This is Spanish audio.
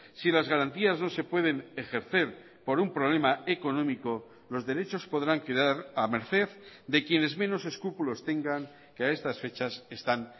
si las garantías no se pueden ejercer por un problema económico los derechos podrán quedar a merced de quienes menos escrúpulos tengan que a estas fechas están